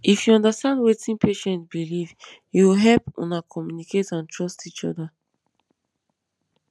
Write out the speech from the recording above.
if you understand wetin patient believe e go help una communicate and trust each other